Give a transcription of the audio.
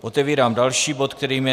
Otevírám další bod, kterým je